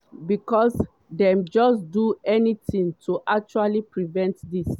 becos dem just do nothing to actually prevent dis.